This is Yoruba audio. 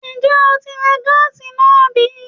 Ǹjẹ́ o tí ń ra gáàsì náà bí?